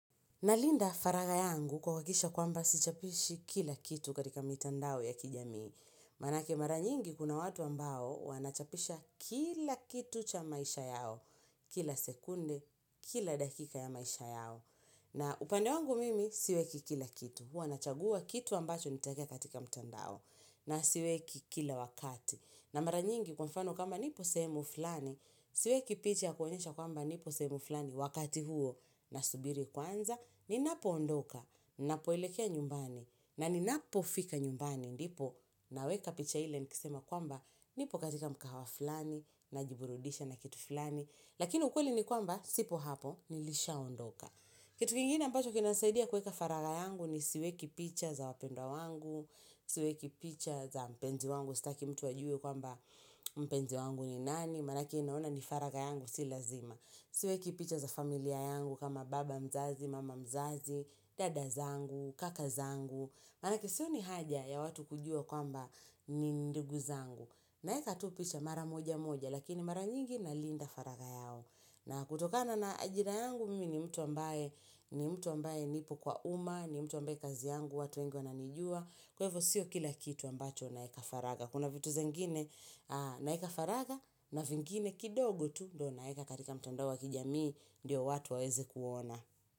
Nalinda faraga yangu kwa kakisha kwamba si chapishi kila kitu katika mitandao ya kijamii. Manake maranyingi kuna watu ambao wanachapisha kila kitu cha maisha yao. Kila sekunde, kila dakika ya maisha yao. Na upande wangu mimi siweki kila kitu. Huanachagua kitu ambacho nitekea katika mitandao. Na siweki kila wakati. Na maranyingi kwa mfano kama nipo sehemu fulani, siweki picha ya kuonyesha kwamba nipo sehemu fulani wakati huo na subiri kwanza. Ninapo ondoka, napoelekea nyumbani na ninapo fika nyumbani Ndipo naweka picha hile Nikisema kwamba nipo katika mkahawaflani Najiburudisha na kitu fulani Lakini ukweli ni kwamba Sipo hapo nilisha ondoka kitu kingine ambacho kinasaidia Kweka faraga yangu ni siweki picha za wapendwa wangu Siweki picha za mpenzi wangu Sitaki mtu ajue kwamba mpenzi wangu ni nani Maanake aona ni faraga yangu Si lazima Siweki picha za familia yangu kama baba mzazi, mama mzazi, dada zangu, kaka zangu Maaake sio ni haja ya watu kujua kwamba ni ndugu zangu Naeka tu pisha mara moja moja Lakini mara nyingi na linda faraga yao na kutokana na ajira yangu mimi ni mtu ambaye ni mtu ambaye nipo kwa uma ni mtu ambaye kazi yangu, watu wengi ananijua Kwa ivo sio kila kitu ambacho naeka faraga Kuna vitu zengine naeka faraga na vingine kidogo tu Dona eka katika mtandao wa kijamii Ndiyo watu waeze kuona.